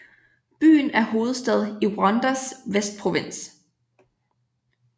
Byen er hovedstad i Rwandas Vestprovins